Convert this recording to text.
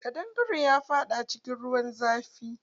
Ƙadangaren ya faɗa cikin ruwan zafi.